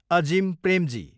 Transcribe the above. Azim Premji